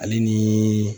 Ale ni